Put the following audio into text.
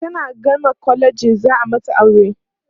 tana gama kwalejin za'a mata aure